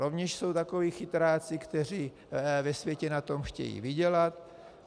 Rovněž jsou takoví chytráci, kteří ve světě na tom chtějí vydělat.